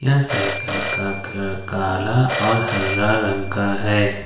यह साइकिल का कलर काला और हरा रंग का है।